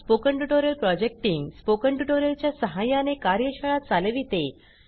spoken tutorial project team spoken tutorial च्या सहाय्याने कार्यशाळा चालविते